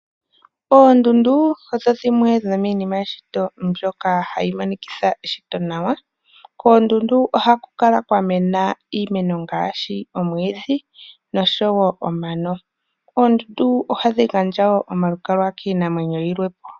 Oondundu odho dhimwe dhomiinima yeshito mbyoka hayi monikitha eshito nawa. Koondundu oha ku kala kwa mena iimeno ngaashi omwiidhi nosho wo omano. Oondundu ohadhi gandja wo oma lukalwa kiinamwenyo yilwe.